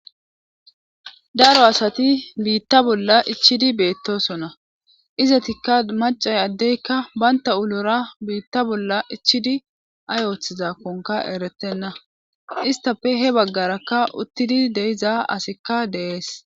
daro asati biitta bolla ichidi beettosona izatikka macay addeykka baynta ulora biitta bolla ichidi ay ooththizakkonka erettenna istafe he baggarakka uttidi de'iza asikka de'ees